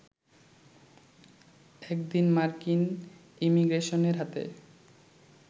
একদিন মার্কিন ইমিগ্রেশনের হাতে